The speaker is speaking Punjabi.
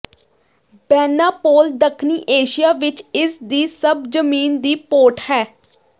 ਬੈਂਨਾਪੋਲ ਦੱਖਣੀ ਏਸ਼ੀਆ ਵਿੱਚ ਇਸ ਦੀ ਸਭ ਜ਼ਮੀਨ ਦੀ ਪੋਰਟ ਹੈ